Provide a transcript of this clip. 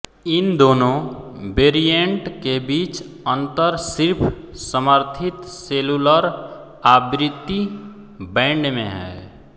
इन दोनो वेरिएंट के बीच अंतर सिर्फ समर्थित सेलुलर आवृत्ति बैंड में है